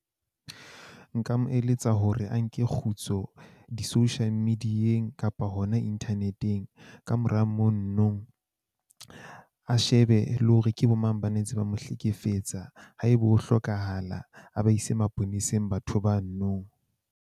Nka mo eletsa hore a nke kgutso di-social media-eng kapa hona internet-eng. Kamora mononong, a shebe le hore ke bo mang ba ne ntse ba mo hlekefetsa, haebe ho hlokahala a ba ise maponeseng batho banonong.